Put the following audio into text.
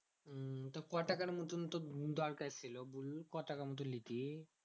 তো ক টাকার মতন তোর দরকার ছিল বল? ক টাকা মতো লিতিস?